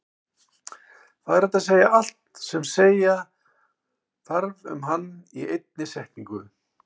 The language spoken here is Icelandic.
Það er hægt að segja allt sem þarf að segja um hann í einni setningu.